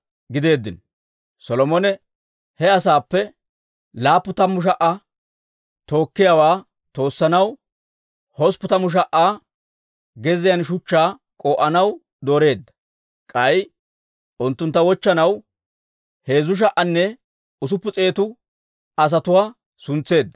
Solomone he asaappe 70,000 tookkiyaawaa toossanaw, 80,000 gezziyaan shuchchaa k'oo'anaw dooreedda; k'ay unttuntta wochchanaw 3,600 asatuwaa suntseedda.